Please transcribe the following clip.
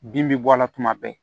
Bin bɛ bɔ a la tuma bɛɛ